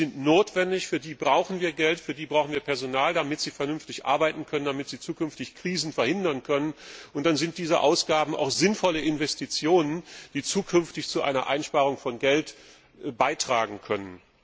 Diese sind notwendig, für die brauchen wir Geld, für die brauchen wir Personal, damit sie vernünftig arbeiten und zukünftig Krisen verhindern können, und dann sind diese Ausgaben auch sinnvolle Investitionen, die zukünftig zu einer Einsparung von Geld beitragen können.